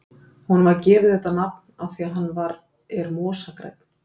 Honum var gefið þetta nafn af því að hann er mosagrænn.